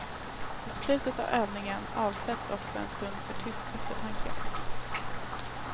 Vid slutet av övningen avsätts också en stund för tyst eftertanke.